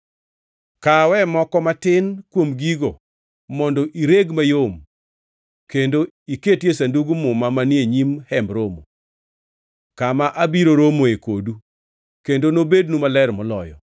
Kawe moko matin kuom gigo mondo ireg mayom kendo iketie Sandug Muma manie nyim Hemb Romo, kama abiro romoe kodu, kendo nobednu maler moloyo.